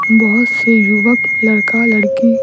बहुत से युवक लड़का लड़की --